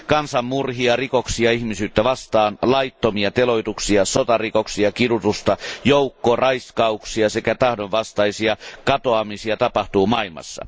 Kansanmurhia, rikoksia ihmisyyttä vastaan, laittomia teloituksia, sotarikoksia ja kidutusta, joukkoraiskauksia sekä tahdonvastaisia katoamisia tapahtuu maailmassa.